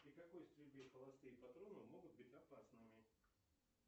при какой стрельбе холостые патроны могут быть опасными